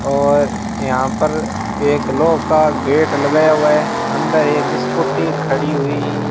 और यहां पर एक लोह का गेट लगाया हुआ है अंदर एक स्कूटी खड़ी हुई --